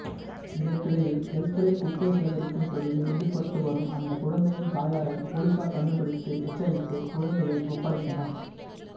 இதற்கிடையில் தெருக்களில் குப்பை சேகரிக்கும் தொழிலில் ஈடுபட்டுவரும் அந்த குழந்தையின் தாயாரை போலீசார் கண்டுபிடித்து எச்சரித்து குழந்தையை ஒப்படைத்தனர்